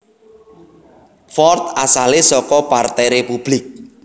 Ford asalé saka partai Republik